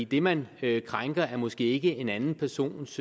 det man krænker er måske ikke en anden persons